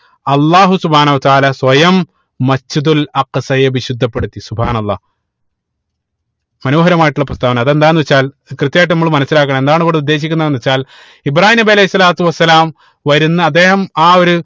അള്ളാഹു സുബ്‌ഹാനഉ വതാല സ്വയം Masjid ഉൽ അക്സയെ വിശുദ്ധപ്പെടുത്തി അള്ളാഹ് മനോഹരമായിട്ടുള്ള പ്രസ്താവന അതെന്താന്ന് വെച്ചാൽ കൃത്യമായിട്ട് നമ്മള് മനസിലാക്കണം എന്താണ് ഇവിടെ ഉദ്ദേശിക്കുന്നത് എന്ന് വെച്ചാൽ ഇബ്രാഹീം നബി അലൈഹി സ്വലാത്തു വസ്സലാം വരുന്ന അദ്ദേഹം ആ ഒര്